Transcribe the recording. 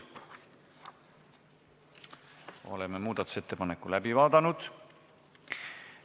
Oleme muudatusettepaneku läbi vaadanud.